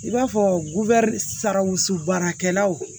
I b'a fɔ sarwusu baarakɛlaw